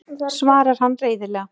svarar hann reiðilega.